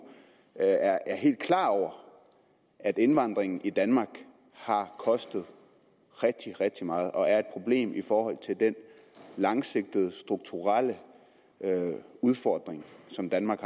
er helt klar over at indvandringen i danmark har kostet rigtig rigtig meget og er et problem i forhold til den langsigtede strukturelle udfordring som danmark